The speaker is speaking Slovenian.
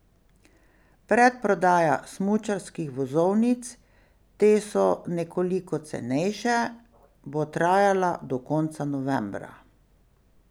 Predprodaja smučarskih vozovnic, te so nekoliko cenejše, bo trajala do konca novembra.